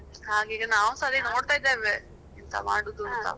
ಹ್ಮ್ ನಾವುಸ ಅದೆ ನೋಡತಾ ಇದ್ದೇವೆ, ಎಂಥ ಮಾಡುದು ಅಂತ.